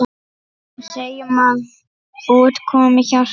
Segjum að út komi hjarta.